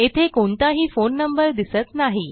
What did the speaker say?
येथे कोणताही phone number दिसत नाही